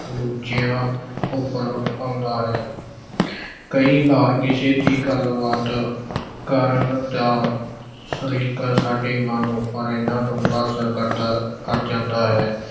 ਦੂਜਿਆਂ ਉੱਪਰ ਪਾਉਂਦਾ ਹੈ। ਕਈ ਵਾਰ ਕਿਸੇ ਦੀ ਗੱਲਬਾਤ ਕਰਨ ਦਾ ਸਲੀਕਾ ਸਾਡੇ ਮਨ ਉੱਪਰ ਐਨਾ ਡੂੰਘਾ ਅਸਰ ਕਰਦਾ ਅਹ ਕਰ ਜਾਂਦਾ ਹੈ।